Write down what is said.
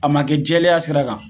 A ma kɛ jɛlenya sira kan.